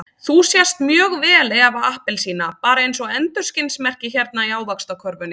Þú sést mjög vel Eva appelsína, bara eins og endurskinsmerki hérna í Ávaxtakörfunni.